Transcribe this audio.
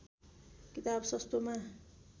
किताब सस्तोमा